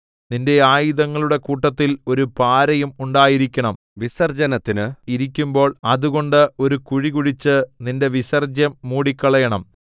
നിന്റെ ആയുധങ്ങളുടെ കൂട്ടത്തിൽ ഒരു പാരയും ഉണ്ടായിരിക്കേണം വിസർജ്ജനത്തിന് ഇരിക്കുമ്പോൾ അതുകൊണ്ട് ഒരു കുഴി കുഴിച്ച് നിന്റെ വിസർജ്ജ്യം മൂടിക്കളയണം